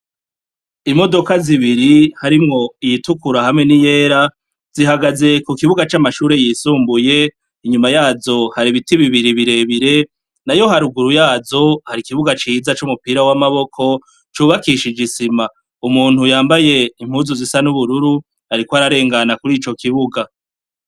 Imodoka zibiri harimwo iyitukura hamwe niyera zihagaze kukibuga camashure yisumbuye inyuma yazo hari ibiti bibiri birebire nayo haruguru yazo hari ikibuga ciza cumupira wamaboko cubakishije isima, umuntu yambaye impuzu zisa nubururu ariko ararengana kurico kibuga.